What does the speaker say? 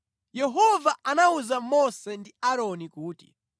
Yehova anawuza Mose ndi Aaroni kuti,